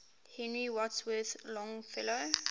henry wadsworth longfellow